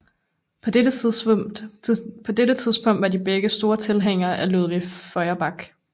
På dette tidspunkt var de begge store tilhængere af Ludwig Feuerbach